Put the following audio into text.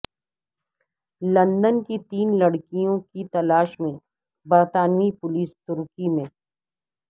London کی تین لڑکیوں کی تلاش میں برطانوی پولیس ترکی میں